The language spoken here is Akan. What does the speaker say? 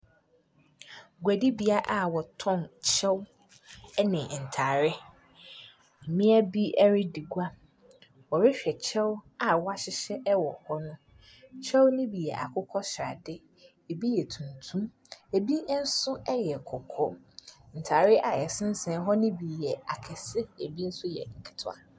Guadibea a wɔtɔn kyɛw ne ntare. Mmea bi redi gua. Wɔrehwɛ kyɛw ahyehyɛ wɔ hɔ no. Kyɛw no bi yɛ akokɔsrade. Ebi yɛ tuntum, ebi nso yɛ kɔkɔɔ. Ntare a ɛsensɛn hɔ no bi ya akɛse, ebi nso yɛ nketewa.